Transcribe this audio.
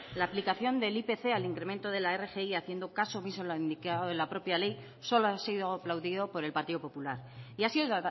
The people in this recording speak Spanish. la aplicación del ipc al incremento de la rgi haciendo caso omiso a lo indicado en la propia ley solo ha sido aplaudido por el partido popular y ha sido